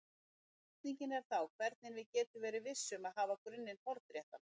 Spurningin er þá hvernig við getum verið viss um að hafa grunninn hornréttan.